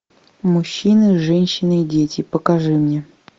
мужчины женщины и дети покажи мне